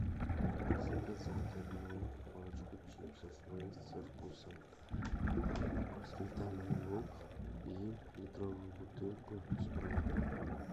заказать одну пачку чипсов лейс со вкусом сметана и лук и литровую бутылку спрайта